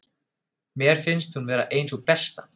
Mér finnst hún vera ein sú besta.